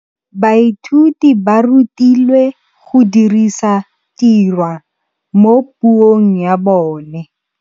Baithuti ba rutilwe go dirisa tirwa mo puong ya bone.